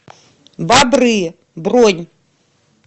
бобры бронь